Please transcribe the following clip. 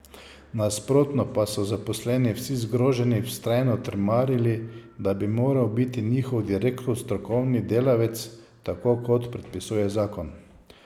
Nasprotno pa so zaposleni vsi zgroženi vztrajno trmarili, da bi moral biti njihov direktor strokovni delavec, tako kot predpisuje zakon.